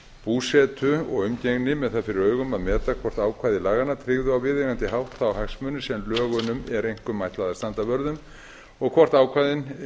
búsetu og umgengni með það fyrir augum að meta hvort ákvæði laganna tryggðu á viðeigandi hátt þá hagsmuni sem lögunum er einkum ætlað að standa vörð um og hvort ákvæðin